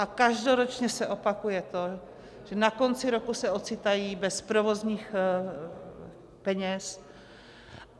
A každoročně se opakuje to, že na konci roku se ocitají bez provozních peněz.